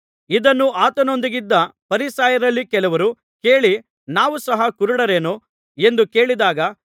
ಇದನ್ನು ಆತನೊಂದಿಗಿದ್ದ ಫರಿಸಾಯರಲ್ಲಿ ಕೆಲವರು ಕೇಳಿ ನಾವು ಸಹ ಕುರುಡರೇನು ಎಂದು ಕೇಳಿದಾಗ